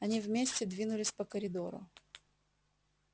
они вместе двинулись по коридору